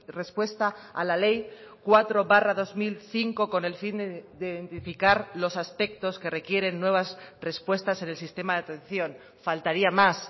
respuesta a la ley cuatro barra dos mil cinco con el fin de identificar los aspectos que requieren nuevas respuestas en el sistema de atención faltaría más